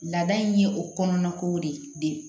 Laada in ye o kɔnɔna kow de ye